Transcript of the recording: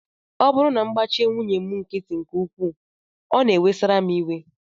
Ọ bụrụ na m gbachi nwunye m nkịtị nke ukwuu, ọ na-ewesara m iwe